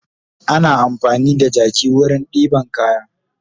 Ana amfani da jaki wurin ɗeban kaya